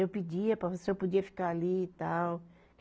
Eu pedia para ver se eu podia ficar ali e tal.